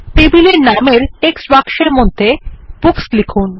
টেবিলের নামের টেক্সট বাক্সের মধ্যে বুকস লিখুন